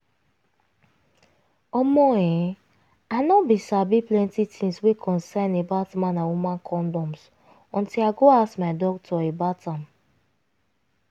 omo[um]i no bin sabi plenty tins wey concern about man and woman condoms until i go ask my doctor about am